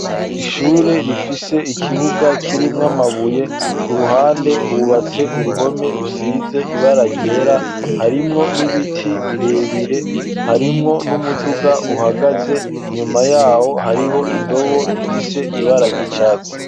Ishure rifise ikibuga kirimwo amabuye, ku ruhande hubatse uruhome rusize ibara ryera harimwo n'ibiti birebire, harimwo n'umuduga uhagaze inyuma yaho hariho indobo ifise ibara ry'icatsi.